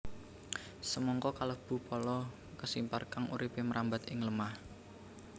Semangka kalebu pala kesimpar kang uripé mrambat ing lemah